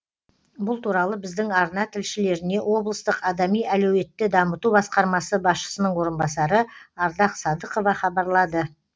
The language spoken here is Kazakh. бұл туралы біздің арна тілшілеріне облыстық адами әлеуетті дамыту басқармасы басшысының орынбасары ардақ садықова хабарлады